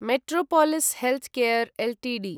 metropolis Healthcare Ltd